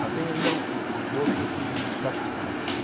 Mas tem ainda um um corpo que me satisfaz.